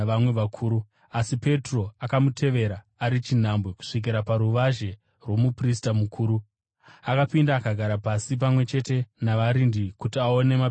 Asi Petro akamutevera ari chinhambwe kusvikira paruvazhe rwomuprista mukuru. Akapinda akagara pasi pamwe chete navarindi kuti aone maperero azvo.